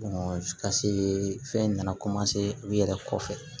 ka se fɛn nana u yɛrɛ kɔfɛ